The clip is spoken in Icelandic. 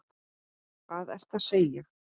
Hvað ertu að segja!